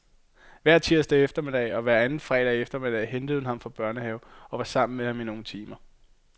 Hver tirsdag eftermiddag og hver anden fredag eftermiddag hentede hun ham fra børnehave og var sammen med ham i nogle timer.